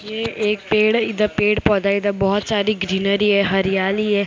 यह एक है इधर पेड़ पौधा है इधर बहुत सारी ग्रीनरी है हरियाली है इधर बहु--